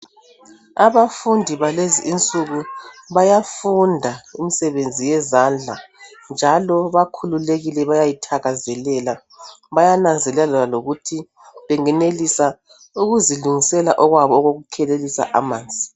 Abafundi balezi insuku, bayafunda imisebenzi yezandla, njalo bakhululekile. Bayayithakazelela. Bayananzelela lokuthi bengenelisa ukuzulungisela okwabo kokuzikhelelisa amanzi.